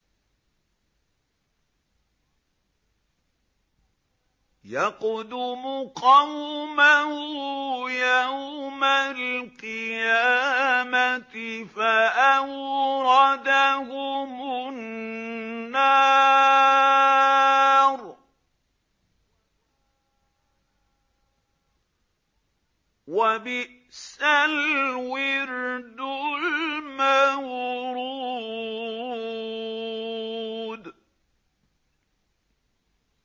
يَقْدُمُ قَوْمَهُ يَوْمَ الْقِيَامَةِ فَأَوْرَدَهُمُ النَّارَ ۖ وَبِئْسَ الْوِرْدُ الْمَوْرُودُ